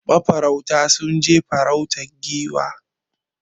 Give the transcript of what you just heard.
Ma farauta sun je farautar Giwa